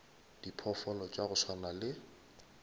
diphoofolo tša go swana le